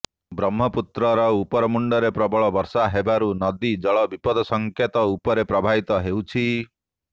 ବ୍ରହ୍ମପୁତ୍ରର ଉପର ମୁଣ୍ଡରେ ପ୍ରବଳ ବର୍ଷା ହେବାରୁ ନଦୀ ଜଳ ବିପଦ ସଙ୍କେତ ଉପରେ ପ୍ରବାହିତ ହେଉଛି